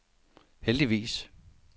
heldigvis